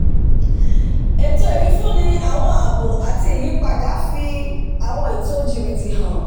èto ìfifúni awọn igbimọ ààbò ati iyipada fi àwọn ètò jibiti hàn